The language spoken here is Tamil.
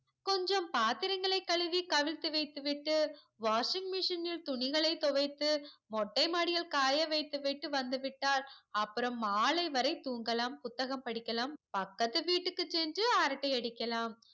மதியம் பாத்திரங்களை கழுவி கவிழ்த்து வைத்து விட்டு washing machine னில் துணிகளை துவைத்து மொட்ட மாடியில் காய வைத்துவிட்டு வந்து விட்டால் அப்புறம் மாலை வரை தூங்கலாம் புத்தகம் படிக்கலாம் பக்கத்து வீட்டுக்கு சென்று அரட்டை அடிக்கலாம்